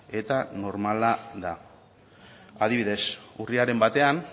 eta normala da adibidez urriaren batean